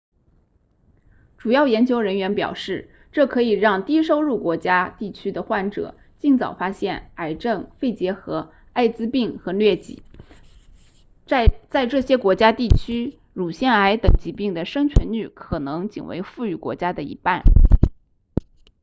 主要研究人员表示这可以让低收入国家地区的患者尽早发现癌症肺结核艾滋病和疟疾在这些国家地区乳腺癌等疾病的生存率可能仅为富裕国家的一半